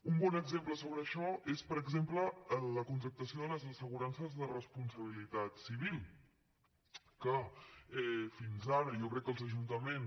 un bon exemple sobre això és per exemple la contractació de les assegurances de responsabilitat civil que fins ara jo crec que els ajuntaments